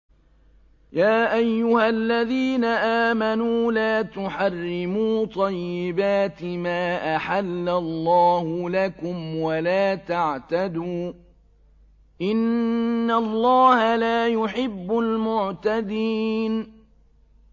يَا أَيُّهَا الَّذِينَ آمَنُوا لَا تُحَرِّمُوا طَيِّبَاتِ مَا أَحَلَّ اللَّهُ لَكُمْ وَلَا تَعْتَدُوا ۚ إِنَّ اللَّهَ لَا يُحِبُّ الْمُعْتَدِينَ